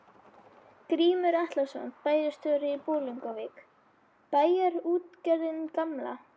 Grímur Atlason, bæjarstjóri í Bolungarvík: Bæjarútgerðin gamla?